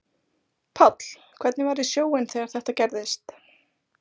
Páll: Hvernig var í sjóinn þegar þetta gerðist?